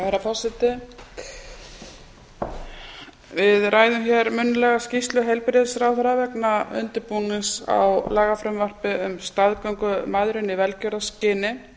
herra forseti við ræðum hér munnlega skýrslu heilbrigðisráðherra vegna undirbúnings á lagafrumvarpi um staðgöngumæðrun í velgjörðarskyni